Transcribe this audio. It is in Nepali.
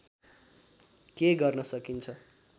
के गर्न सकिन्छ